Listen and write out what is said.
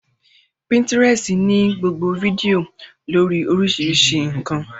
Pínítirẹsi ní gbogbo fídíò lórii oríṣiríṣi ǹkan